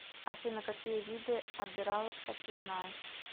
афина какие виды обираловка ты знаешь